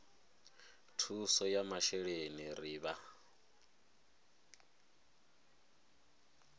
thuso ya masheleni ri vha